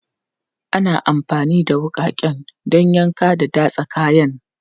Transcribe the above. Ana amfani da wuƙaƙen don yanka da datsa kayan.